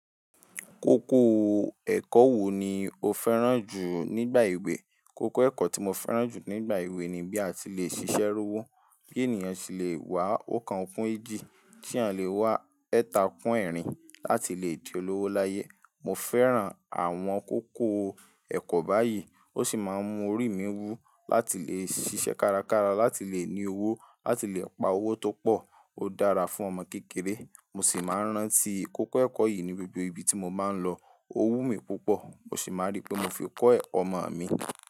Kókó ẹ̀kọ́ wo ni o fẹ́ràn jù nígbà ewè? Kókó ẹ̀kọ́ tí mo fẹ́ràn jù nígbà ewè ni bí a ti le ṣiṣẹ́ rowo, bí ènìyàn ṣe le wá ọ̀kàn kún ejì, ti eeyan le wá ẹ̀ta kún ẹ̀rin láti lè di olówó láyé. Mo fẹ́ràn àwọn kókó ẹ̀kọ́ báyìí ó sì máa ń mú orí mi wú láti le ṣiṣẹ́ kárakára, láti le ní owó, láti le pa owó tó pọ̀. Ó dára fún ọmọ kékeré, mo sì máa ń rántí kókó ẹ̀kọ́ yìí ní gbogbo ibi tí mo máa ń lọ. Ó wú mi púpọ̀, mo sì máa rí pé mo fi kọ́ ẹ̀ ọmọ mi.